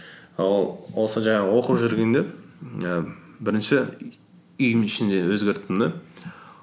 сол жаңағы оқып жүргенде ііі бірінші үйім ішінде өзгерттім де